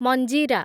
ମଞ୍ଜିରା